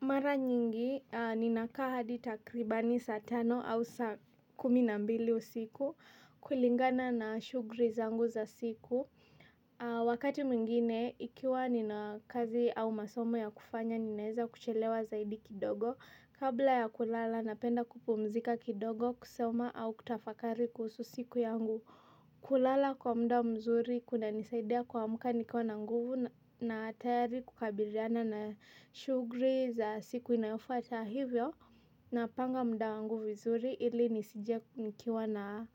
Mara nyingi, ninakaa hadi takribani saa tano au saa kumi na mbili usiku kulingana na shughuli zangu za siku. Wakati mwingine, ikiwa nina kazi au masomo ya kufanya, ninaeza kuchelewa zaidi kidogo. Kabla ya kulala, napenda kupumzika kidogo kusoma au kutafakari kuhusu siku yangu. Kulala kwa muda mzuri kunanisaidia kuamka nikiwa na nguvu na tayari kukabiliana na shughuli za siku inayofuata hivyo napanga muda wangu vizuri ili nisije nikiwa na